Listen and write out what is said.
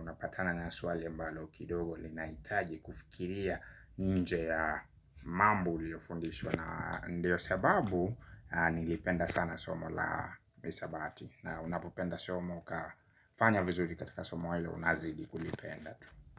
unapatana ni swali ambalo kidogo linaitaji kufikiria nje ya mambo uliyofundishwa na ndiyo sababu nilipenda sana somo la hisabati na unapopenda somo kafanya vizuri katika somo hilo unazidi kulipenda tu.